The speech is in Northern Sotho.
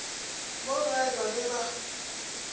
mo gae ba be ba